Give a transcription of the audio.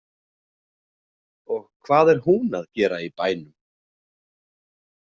Og hvað er hún að gera í bænum?